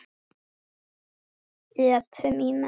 Öpum í menn.